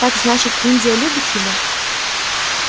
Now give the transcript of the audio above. так значит индия любит его